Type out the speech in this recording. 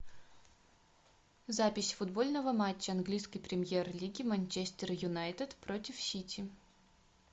запись футбольного матча английской премьер лиги манчестер юнайтед против сити